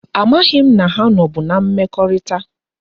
A maghi m na ha no bu na mmekorita